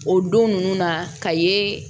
O don nunnu na ka ye